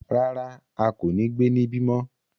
Rárá, a ko ni gbe nibi mọ